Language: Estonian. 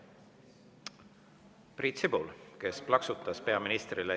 Priit Sibul, kes plaksutas peaministrile.